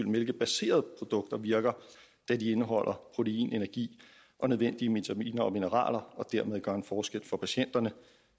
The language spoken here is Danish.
mælkebaserede produkter virker da de indeholder protein energi og nødvendige vitaminer og mineraler og dermed gør en forskel for patienterne